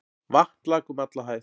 Vatn lak um alla hæð.